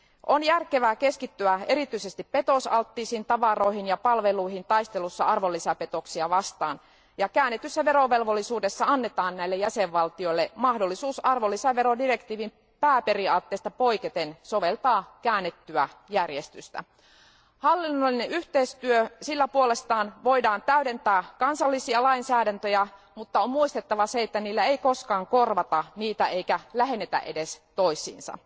On järkevää keskittyä erityisesti petosalttiisiin tavaroihin ja palveluihin taistelussa arvonlisäveropetoksia vastaan, ja käännetyssä verovelvollisuudessa annetaan näille jäsenvaltioille mahdollisuus arvonlisäverodirektiivin pääperiaatteesta poiketen soveltaa käännettyä järjestystä. Hallinnollisella yhteistyöllä puolestaan voidaan täydentää kansallisia lainsäädäntöjä, mutta on muistettava se, että sillä ei koskaan korvata niitä eikä sillä lähennetä niitä toisiinsa.